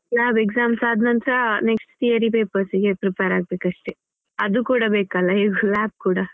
Lab exams ಆದ್ ನಂತ್ರ next theory papers ಗೆ prepare ಆಗ್ಬೇಕಷ್ಟೆ. ಅದು ಕೂಡ ಬೇಕಲ್ವಾ ಹೇಗೂ lab ಕೂಡ.